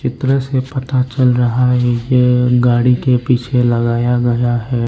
दृश्य से पता चल रहा है यह गाड़ी के पीछे लगाया गया है।